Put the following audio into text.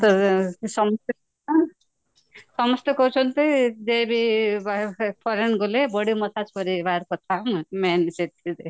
ସମୁଦ୍ର ସମୁଦ୍ରରେ ନା ସମସ୍ତେ କହୁଛନ୍ତି foreign ଗଲେ body massage କରିବାର କଥା ନୁହେଁ main